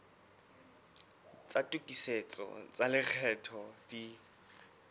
tsa tokisetso tsa lekgetho di